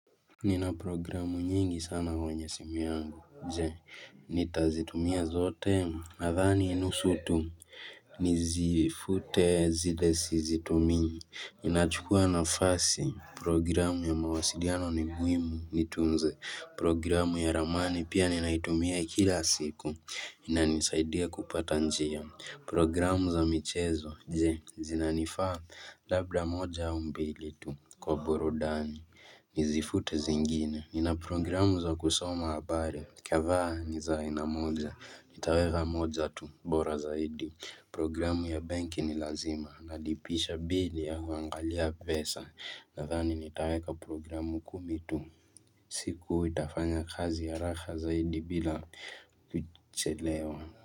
Nina programu nyingi sana kwenye simu yangu, je, nitazitumia zote, nadhani nusu tu, nizifute zile sizitumii inachukua na fasi, programu ya mawasiliano ni muhimu, nitunze, programu ya ramani, pia ninaitumia kila siku, inanisaidia kupata njia, programu za michezo, je, zinanifaa, labda moja au mbili tu, kwa burudani, Nizifute zingine. Nina programu za kusoma habari. Kadhaa ni za ainamoja. Nitaweka moja tu. Bora zaidi. Programu ya benki ni lazima. Nalipisha bili ya kuangalia pesa. Natodhani nitaweka programu kumitu. Siku itafanya kazi haraka zaidi bila kuchelewa.